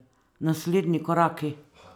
Naslednji koraki?